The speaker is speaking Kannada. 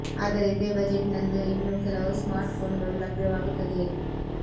ಆದರೆ ಇದೇ ಬಜೆಟ್ ನಲ್ಲಿ ಇನ್ನೂ ಕೆಲವು ಸ್ಮಾರ್ಟ್ ಫೋನ್ ಗಳು ಲಭ್ಯವಾಗುತ್ತದೆ